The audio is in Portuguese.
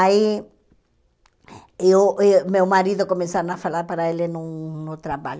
Aí, eu e meu marido, começaram a falar para ele num no trabalho.